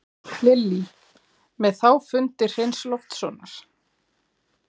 Lillý: Með þá fundi Hreins Loftssonar?